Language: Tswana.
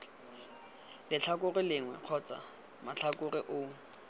letlhakore lengwe kgotsa matlhakore oo